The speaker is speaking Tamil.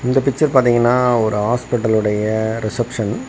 இந்த பிக்சர் பாத்திங்கனா ஒரு ஹாஸ்பிடல் உடைய ரிசப்ஷன் .